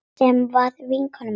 Sem var vinkona mín.